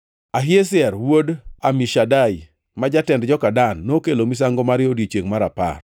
Ahiezer wuod Amishadai, ma jatend joka Dan, nokelo misango mare e odiechiengʼ mar apar.